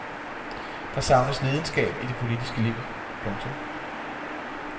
Der savnes lidenskab i det politiske liv. punktum